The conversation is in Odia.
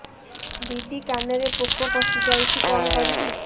ଦିଦି କାନରେ ପୋକ ପଶିଯାଇଛି କଣ କରିଵି